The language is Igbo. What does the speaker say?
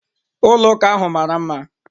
Ụlọ ụka ahu mara mma.